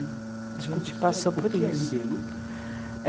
A gente passou por isso.